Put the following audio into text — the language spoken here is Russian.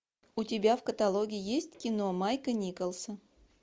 у тебя в каталоге есть кино майка николса